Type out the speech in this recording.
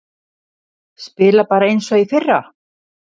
Spila bara eins og í fyrra?